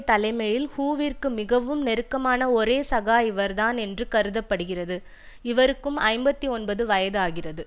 தலைமையில் ஹூவிற்கு மிகவும் நெருக்கமான ஒரே சகா இவர்தான் என்று கருத படுகிறது இவருக்கும் ஐம்பத்தி ஒன்பது வயது ஆகிறது